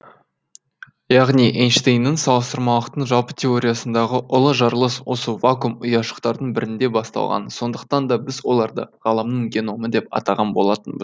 яғни эйнштейннің салыстырмалылықтың жалпы теориясындағы ұлы жарылыс осы вакуум ұяшықтардың бірінде басталған сондықтан да біз оларды ғаламның геномы деп атаған болатынбыз